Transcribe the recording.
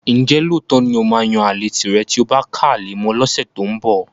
Ǹjẹ́ lóòótọ́ ni ó máa yan àlè tìrẹ tí o bá ká ale mọ́ ọn lọ́sẹ̀ tó ń bọ̀?